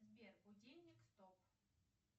сбер будильник стоп